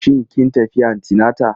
Shin kin tafi antinata?